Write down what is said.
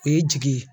O ye jigi ye